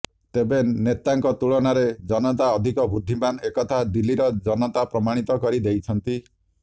ତେବେ ନେତାଙ୍କ ତୁଳନାରେ ଜନତା ଅଧିକ ବୁଦ୍ଧିମାନ ଏକଥା ଦିଲ୍ଲୀର ଜନତା ପ୍ରମାଣିତ କରି ଦେଇଛନ୍ତି